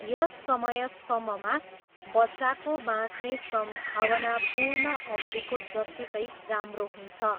यस समयसम्ममा, बच्चाको बाँच्ने सम्भावना पूर्ण अवधिको जत्तिकै राम्रो हुन्छ।